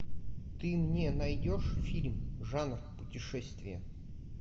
ты мне найдешь фильм жанр путешествия